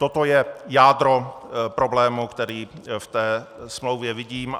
Toto je jádro problému, který v té smlouvě vidím.